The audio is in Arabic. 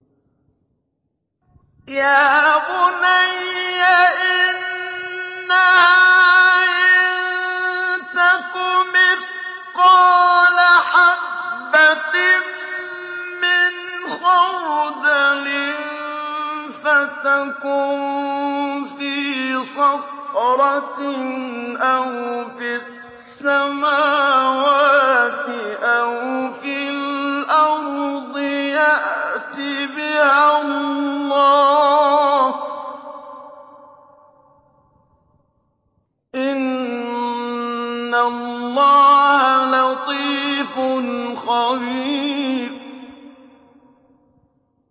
يَا بُنَيَّ إِنَّهَا إِن تَكُ مِثْقَالَ حَبَّةٍ مِّنْ خَرْدَلٍ فَتَكُن فِي صَخْرَةٍ أَوْ فِي السَّمَاوَاتِ أَوْ فِي الْأَرْضِ يَأْتِ بِهَا اللَّهُ ۚ إِنَّ اللَّهَ لَطِيفٌ خَبِيرٌ